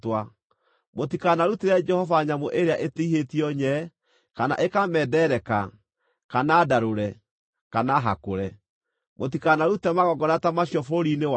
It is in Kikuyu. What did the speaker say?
Mũtikanarutĩre Jehova nyamũ ĩrĩa ĩtihĩtio nyee, kana ĩkamendereka, kana ndarũre, kana hakũre. Mũtikanarute magongona ta macio bũrũri-inĩ wanyu,